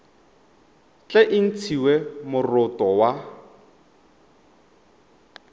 tle e ntshiwe moroto wa